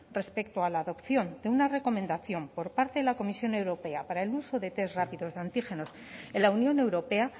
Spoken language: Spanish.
respecto a la adopción de una recomendación por parte de la comisión europea para el uso de test rápidos de antígenos en la unión europea